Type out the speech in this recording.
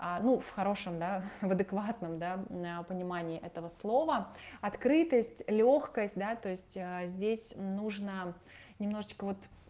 а ну в хорошем да в адекватном да понимании этого слова открытость лёгкость да то есть здесь нужно немножечко вот